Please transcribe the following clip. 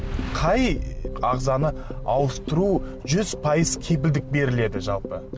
қай ағзаны ауыстыру жүз пайыз кепілдік беріледі жалпы